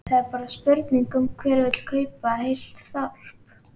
Þá er bara spurning um hver vill kaupa heilt þorp?